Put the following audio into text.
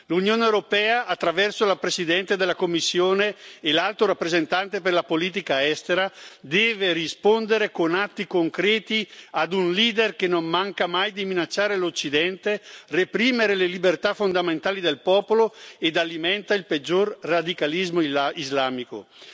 L'Unione europea, attraverso la Presidente della Commissione e l'Alto rappresentante per la politica estera, deve rispondere con atti concreti a un leader che non manca mai di minacciare l'Occidente, reprimere le libertà fondamentali del popolo e alimentare il peggior radicalismo islamico.